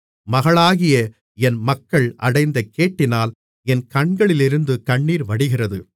மகளாகிய என் மக்கள் அடைந்த கேட்டினால் என் கண்களிலிருந்து கண்ணீர் வடிகிறது